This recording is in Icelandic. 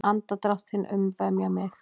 Andardrátt þinn umvefja mig.